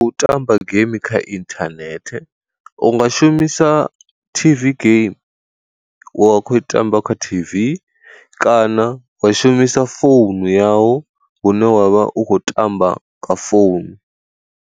U tamba game kha inthanethe, u nga shumisa T_V game wa kho i tamba kha T_V, kana wa shumisa founu yau u ne wa vha u khou tamba kha founu.